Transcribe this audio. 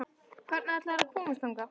Hvernig ætlarðu að komast þangað?